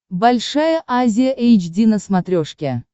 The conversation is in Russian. большая азия эйч ди на смотрешке